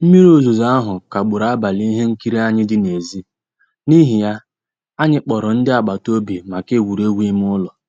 Mmírí òzùzó ahụ́ kagbùrù àbálị́ ihe nkírí ànyị́ dị́ n'èzí, n'ihí ya, ànyị́ kpọ̀rọ́ ndí àgbàtà òbì maka ègwùrègwù ímé ụ́lọ́.